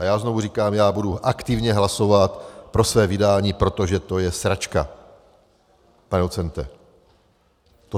A já znovu říkám, já budu aktivně hlasovat pro své vydání - protože to je sračka, pane docente!